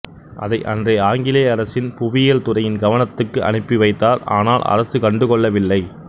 அதை அன்றைய ஆங்கிலேய அரசின் புவியியல்துறையின் கவனத்துக்கு அனுப்பிவைத்தார் ஆனால் அரசு கண்டுகொள்ளவில்லை